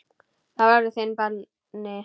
Það verður þinn bani.